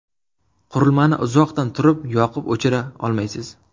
Qurilmani uzoqdan turib yoqib-o‘chira olmaysiz.